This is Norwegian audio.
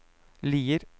Lier